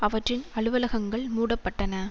அவற்றின் அலுவலகங்கள் மூடப்பட்டன